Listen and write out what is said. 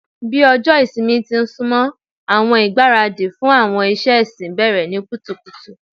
Bi ọjọ ìsinmi ti n sunmọ, awọn igbaradi fun awọn iṣẹ ẹsin bẹrẹ ni kutukutu